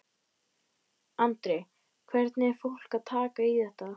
Andri: Hvernig er fólk að taka í þetta?